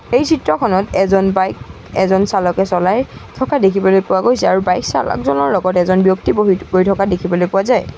এই চিত্ৰখনত এজন বাইক এজন চালকে চলাই থকা দেখিবলৈ পোৱা গৈছে আৰু বাইক চালকজনৰ লগত এজন ব্যক্তি বহি গৈ থকা দেখিবলৈ পোৱা যায়।